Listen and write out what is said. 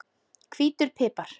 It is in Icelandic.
Hvítur pipar